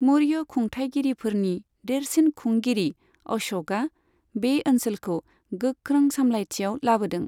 मौर्य खुंथायगिरिफोरनि देरसिन खुंगिरि अश'कआ बे ओनसोलखौ गोख्रों सामलायथियाव लाबोदों।